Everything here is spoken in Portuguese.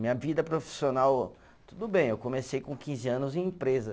Minha vida profissional, tudo bem, eu comecei com quinze anos em empresa.